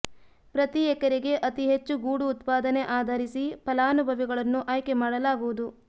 ಪ್ರತಿ ಎಕರೆಗೆ ಅತಿ ಹೆಚ್ಚು ಗೂಡು ಉತ್ಪಾದನೆ ಆಧರಿಸಿ ಫಲಾನುಭವಿಗಳನ್ನು ಆಯ್ಕೆ ಮಾಡಲಾಗುವುದು